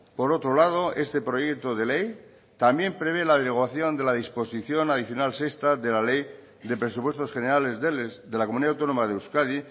por otro lado este proyecto de ley también prevé la derogación de la disposición adicional sexta de la ley de presupuestos generales de la comunidad autónoma de euskadi